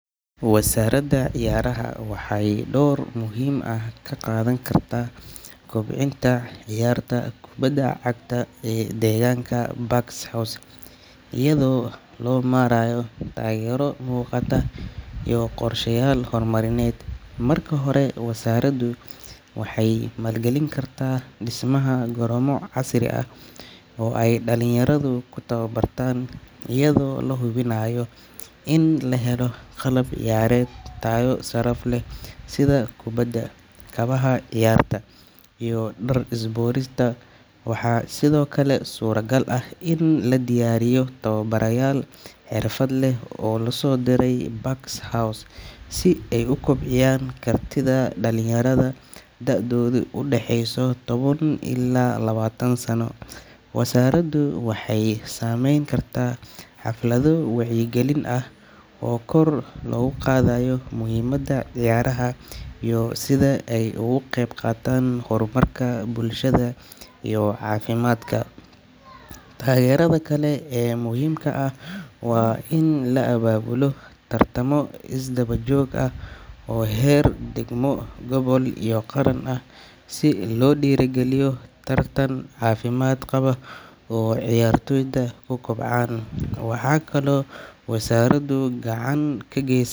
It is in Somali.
Wasaaradda Ciyaaraha waxay door muhiim ah ka qaadan kartaa kobcinta ciyaarta kubadda cagta ee deegaanka Berks House iyadoo loo marayo taageero muuqata iyo qorsheyaal horumarineed. Marka hore, wasaaraddu waxay maalgelin kartaa dhismaha garoomo casri ah oo ay dhallinyaradu ku tababartaan, iyadoo la hubinayo in la helo qalab ciyaareed tayo sare leh sida kubbado, kabaha ciyaarta, iyo dhar isboorti. Waxaa sidoo kale suuragal ah in la diyaariyo tababarayaal xirfad leh oo loo soo diray Berks House si ay u kobciyaan kartida dhalinyarada da'doodu u dhaxayso toban ilaa labaatan sano. Wasaaradda waxay samayn kartaa xaflado wacyigelin ah oo kor loogu qaadayo muhiimadda ciyaaraha iyo sida ay uga qayb qaataan horumarka bulshada iyo caafimaadka. Taageerada kale ee muhiimka ah waa in la abaabulo tartamo isdaba joog ah oo heer degmo, gobol iyo qaran ah si loo dhiirrigeliyo tartan caafimaad qaba oo ciyaartooyda ku kobcaan. Waxaa kaloo wasaaraddu gacan ka geys.